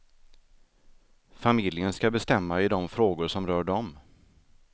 Familjen ska bestämma i de frågor som rör dem.